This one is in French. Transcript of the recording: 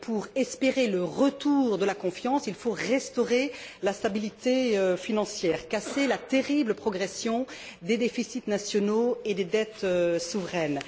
Pour espérer le retour de la confiance, il faut restaurer la stabilité financière et casser la terrible progression des déficits nationaux et des dettes souveraines.